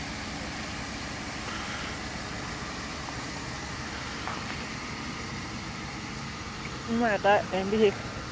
উম এটাই MB শেষ